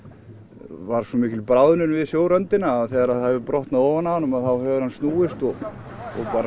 var svo mikil bráðnun við að þegar það hefur brotnað ofan af honum hefur hann snúist og bara